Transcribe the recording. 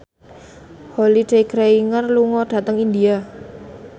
Holliday Grainger lunga dhateng India